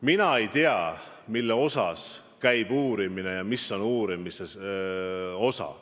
Mina ei tea, mille osas käib uurimine, mis käib uurimise alla.